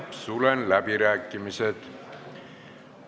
Sulgen läbirääkimised.